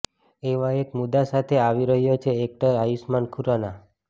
એવા એક મુદ્દા સાથે આવી રહ્યો છે એક્ટર આયુષ્માન ખુરાના